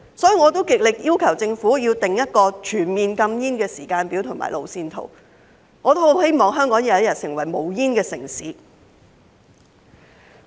所以，我極力要求政府訂立一個全面禁煙的時間表和路線圖，我也十分希望香港有一天成為無煙城市。